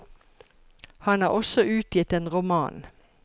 Han har også utgitt en roman.